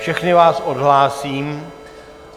Všechny vás odhlásím.